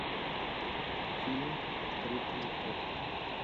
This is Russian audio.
фильмик открытые окна